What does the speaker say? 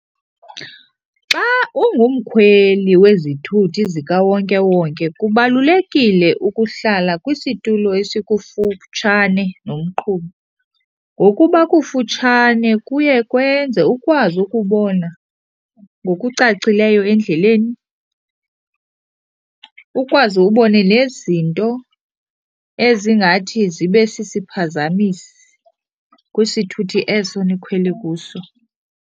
Xa ungumkhweli wezithuthi zikawonkewonke kubalulekile ukuhlala kwisitulo esikufutshane nomqhubi. Ngokuba kufutshane kuye kwenze ukwazi ukubona ngokucacileyo endleleni, ukwazi ubone nezinto ezingathi zibe sisiphazamisi kwisithuthi eso nikhwele kuso.